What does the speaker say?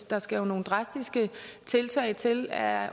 der skal jo nogle drastiske tiltag til er